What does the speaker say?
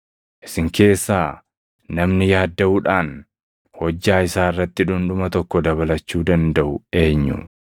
Isin keessaa namni yaaddaʼuudhaan hojjaa isaa irratti dhundhuma tokko dabalachuu dandaʼu eenyu?